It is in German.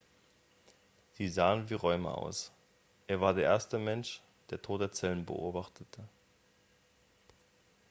sie sahen wie räume aus er war der erste mensch der tote zellen beobachtete